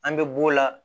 An bɛ b'o la